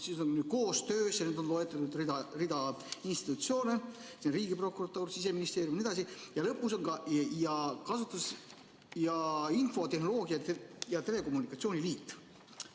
See on siis koostöös ja on loetletud rida institutsioone: Riigiprokuratuur, Siseministeerium jne, ja lõpus on ka Eesti Infotehnoloogia ja Telekommunikatsiooni Liit.